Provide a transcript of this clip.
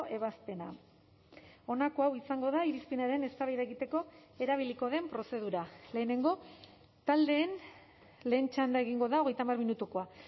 ebazpena honako hau izango da irizpenaren eztabaida egiteko erabiliko den prozedura lehenengo taldeen lehen txanda egingo da hogeita hamar minutukoa